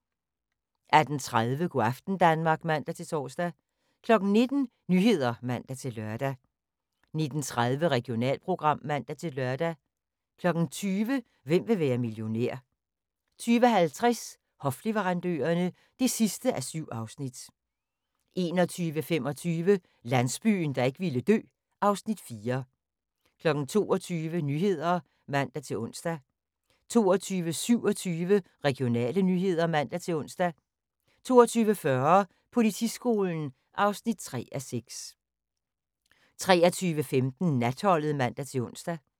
18:30: Go' aften Danmark (man-tor) 19:00: Nyhederne (man-lør) 19:30: Regionalprogram (man-lør) 20:00: Hvem vil være millionær? 20:50: Hofleverandørerne (7:7) 21:25: Landsbyen, der ikke ville dø (Afs. 4) 22:00: Nyhederne (man-ons) 22:27: Regionale nyheder (man-ons) 22:40: Politiskolen (3:6) 23:15: Natholdet (man-ons)